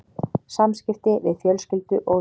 SAMSKIPTI VIÐ FJÖLSKYLDU OG VINI